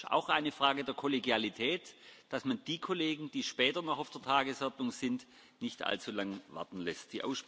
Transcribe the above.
Es ist auch eine Frage der Kollegialität, dass man die Kollegen, die später noch auf der Tagesordnung sind, nicht allzulange warten lässt.